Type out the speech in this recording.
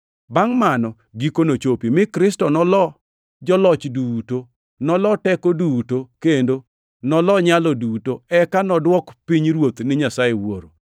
Bangʼ mano, giko nochopi, mi Kristo nolo joloch duto, nolo teko duto kendo nolo nyalo duto, eka nodwok pinyruoth ni Nyasaye Wuoro,